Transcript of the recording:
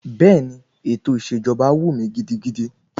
Bẹ́ẹ̀ni, ètò ìṣèjọba wù mí gidigidi.